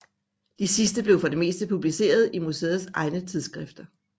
De sidste blev for det meste publicerede i museets egne tidsskifter